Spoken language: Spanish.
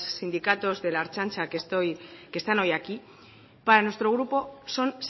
sindicatos de la ertzaintza que están hoy aquí para nuestro grupo son